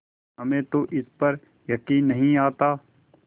हमें तो इस पर यकीन नहीं आता